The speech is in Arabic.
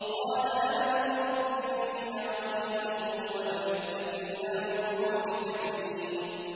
قَالَ أَلَمْ نُرَبِّكَ فِينَا وَلِيدًا وَلَبِثْتَ فِينَا مِنْ عُمُرِكَ سِنِينَ